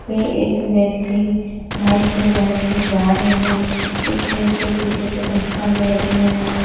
ये एक व्यक्ति बाइक पे बैठ के जा रहे हैं एक व्यक्ति पीछे से धक्का दे रहे हैं।